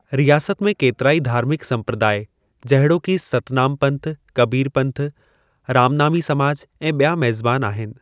रियासत में केतिराई धार्मिक संप्रदाय जहिड़ोकि सतनामपंथ, कबीरपंथ, रामनामी समाज, ऐं ॿिया मेज़बान आहिनि।